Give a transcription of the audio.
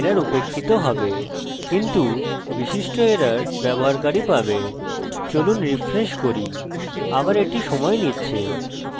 চলুন রিফ্রেশ করি আবার এটি সময় নিচ্ছে তাই আমি ক্ষমা চাইছি